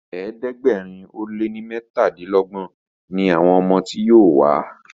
ẹ̀ẹ́dẹ̀gbẹ̀rin o lẹ ní metadinlogbon ní àwọn ọmọ tí yóò wá..